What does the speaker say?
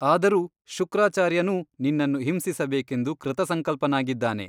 ಆದರೂ ಶುಕ್ರಾಚಾರ್ಯನೂ ನಿನ್ನನ್ನು ಹಿಂಸಿಸಬೇಕೆಂದು ಕೃತಸಂಕಲ್ಪನಾಗಿದ್ದಾನೆ.